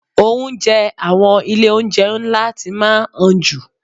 Oúnjẹ àwọn ilé oúnjẹ ńlá ti máa ń han jù.